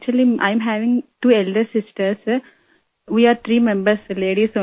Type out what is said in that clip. دراصل ، میری دو چھوٹی بہنیں ہیں ، ہم تین ممبران ہیں